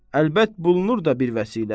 Əlbət bulunur da bir vəsilə.